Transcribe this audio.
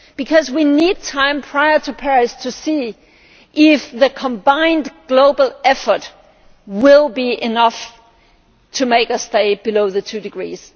Because we need time, prior to Paris, to see whether the combined global effort will be enough to make us stay below the two degrees.